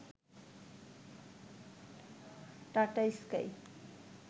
tata sky